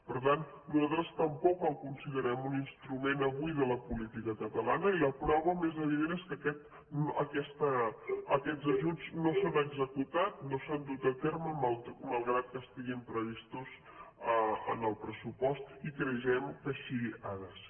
per tant nosaltres tampoc el considerem un instrument avui de la política catalana i la prova més evident és que aquests ajuts no s’han executat no s’han dut a terme malgrat que estiguin previstos en el pressupost i creiem que així ha de ser